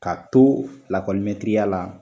Ka to lakɔlimɛtiriya la